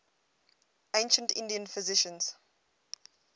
ancient indian physicians